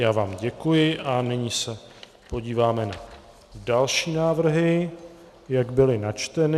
Já vám děkuji a nyní se podíváme na další návrhy, jak byly načteny.